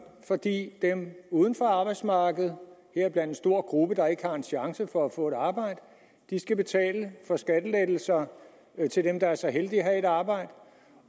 fordi dem uden for arbejdsmarkedet heriblandt en stor gruppe der ikke har en chance for at få et arbejde skal betale for skattelettelser til dem der er så heldige at have et arbejde